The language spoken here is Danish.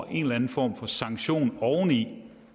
en eller anden form for sanktion som oveni